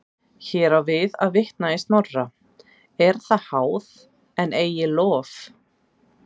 Hér á við að vitna í Snorra: er það háð en eigi lof.